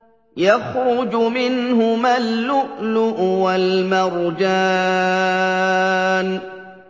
يَخْرُجُ مِنْهُمَا اللُّؤْلُؤُ وَالْمَرْجَانُ